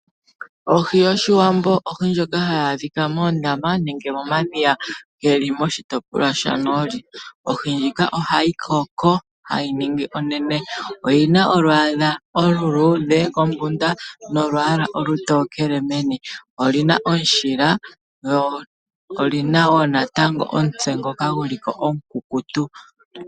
Ohi yOshiwambo ohi ndjoka hayi adhika moondama nenge momadhiya geli moshitopolwa shanooli. Ohi ndjika ohayi koko hayi ningi onene. Oyina olwaala oluluudhe kombunda nolwaala olutokele meni, oyina omushila, oyina wo omutse ngoka guli ko omukukutu.